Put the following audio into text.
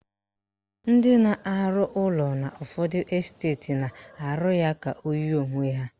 Ndị na-arụ ụlọ n'ụfọdụ esteti na-arụ ya ka o yie onwe ha